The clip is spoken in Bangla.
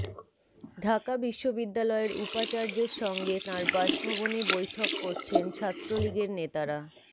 ঢাকা বিশ্ববিদ্যালয়ের উপাচার্যের সঙ্গে তাঁর বাসভবনে বৈঠক করছেন ছাত্রলীগের নেতারা